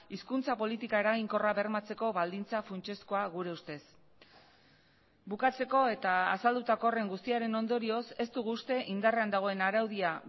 hizkuntza politika eraginkorra bermatzeko baldintza funtsezkoa gure ustez bukatzeko eta azaldutako horren guztiaren ondorioz ez dugu uste indarrean dagoen araudia